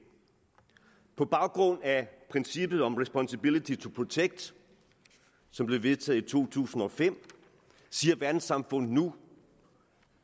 på baggrund af princippet om responsibility to protect som blev vedtaget i to tusind og fem siger verdenssamfundet nu